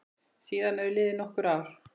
Síðan eru liðin nokkur ár.